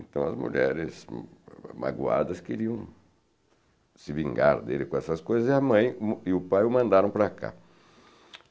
Então as mulheres magoadas queriam se vingar dele com essas coisas e a mãe e o pai o mandaram para cá.